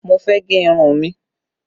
Mo fẹ́ gẹ irun mi